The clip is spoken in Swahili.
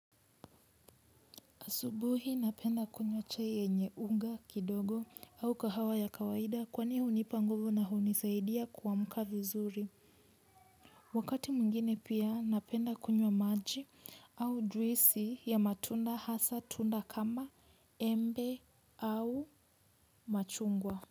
Asubuhi napenda kunywa chai yenye unga kidogo au kahawa ya kawaida kwani hunipa nguvu na hunisaidia kuamka vizuri. Wakati mwingine pia napenda kunywa maji au juisi ya matunda hasa tunda kama embe au machungwa.